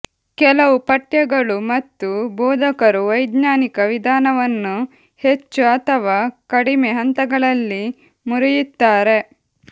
ಕೆಲವು ಪಠ್ಯಗಳು ಮತ್ತು ಬೋಧಕರು ವೈಜ್ಞಾನಿಕ ವಿಧಾನವನ್ನು ಹೆಚ್ಚು ಅಥವಾ ಕಡಿಮೆ ಹಂತಗಳಲ್ಲಿ ಮುರಿಯುತ್ತಾರೆ